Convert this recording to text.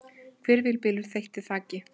Hvirfilbylur þeytti þaki